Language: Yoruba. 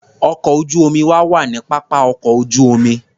Ọkọ̀ ojú-omi wa wà ní pápá ọkọ̀ ojú-omi.